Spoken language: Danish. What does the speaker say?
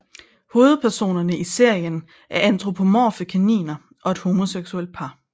Hovedpersonerne i serien er antropomorfe kaniner og et homoseksuelt par